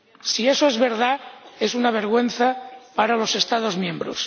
Si eso es verdad, es una vergüenza para los Estados miembros.